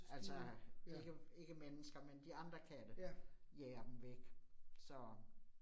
Altså ikke ikke mennesker, men de andre katte jager dem væk så